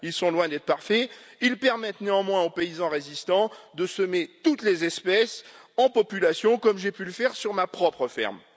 Ils sont loin d'être parfaits, ils permettent néanmoins aux paysans résistants de semer toutes les espèces en population, comme j'ai pu le faire sur ma propre ferme.